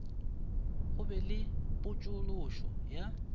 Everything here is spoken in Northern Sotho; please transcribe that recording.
go be le potšološo ya